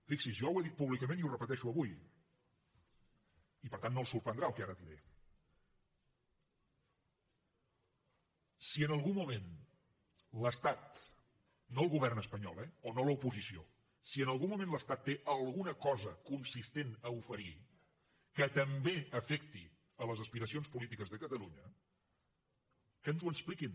fixi s’hi jo ho he dit públicament i ho repeteixo avui i per tant no el sorprendrà el que ara diré si en algun moment l’estat no el govern espanyol eh o no l’oposició té alguna cosa consistent a oferir que també afecti les aspiracions polítiques de catalunya que ens ho expliquin